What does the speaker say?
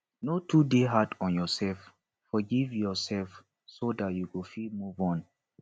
no too dey hard on yourself forgive yourself so dat you go fit move on